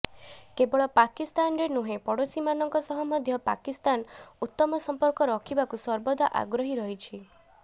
କେବଳ ପାକିସ୍ତାନରେ ନୁହେଁ ପଡ଼ୋଶୀମାନଙ୍କ ସହ ମଧ୍ୟ ପାକିସ୍ତାନ ଉତ୍ତମ ସମ୍ପର୍କ ରଖିବାକୁ ସର୍ବଦା ଆଗ୍ରହୀ ରହିଛି